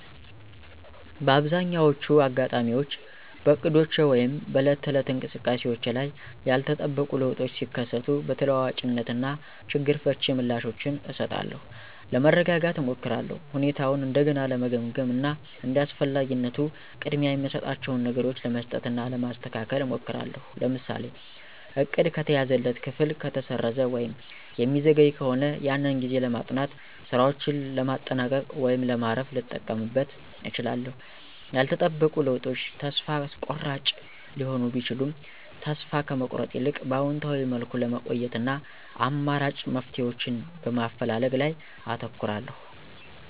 በአብዛኛዎቹ አጋጣሚዎች በእቅዶቼ ወይም በዕለት ተዕለት እንቅስቃሴዎቼ ላይ ያልተጠበቁ ለውጦች ሲከሰቱ በተለዋዋጭነት እና ችግር ፈቺ ምላሾችን እሰጣለሁ። ለመረጋጋት እሞክራለሁ፣ ሁኔታውን እንደገና ለመገምገም እና እንደ አስፈላጊነቱ ቅድሚያ የምሰጣቸውን ነገሮች ለመስጠት እና ለማስተካከል እሞክራለሁ። ለምሳሌ:- እቅድ ከተያዘለት ክፍል ከተሰረዘ ወይም የሚዘገይ ከሆነ ያንን ጊዜ ለማጥናት፣ ሥራዎችን ለማጠናቀቅ ወይም ለማረፍ ልጠቀምበት እችላለሁ። ያልተጠበቁ ለውጦች ተስፋ አስቆራጭ ሊሆኑ ቢችሉም ተስፋ ከመቁረጥ ይልቅ በአዎንታዊ መልኩ ለመቆየት እና አማራጭ መፍትሄዎችን በማፈላለግ ላይ አተኩራለሁ።